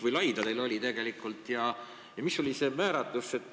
Kui pikk nimekiri teil tegelikult oli ja mis olid selle määratlemise alused?